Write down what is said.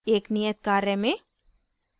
एक नियत कार्य में